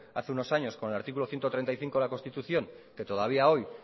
hace unos años con el artículo ciento treinta y cinco de la constitución que todavía hoy